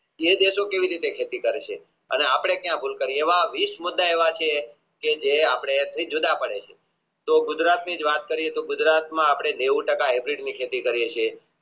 એ દેશો કેવી રીતે ખેતી કરે છે અને આપણે ક્યાં ભૂલ એવા વિષ મુદ્દા એવા છે કે જે આપણા થી જુદા પડે છે કે ગુજરાતની જ વાત કરીયે તો ગુજરાત માં આપણે નેવું ટકા Acid ની ખેતી કરીયે છીએ